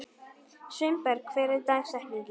Sveinberg, hver er dagsetningin í dag?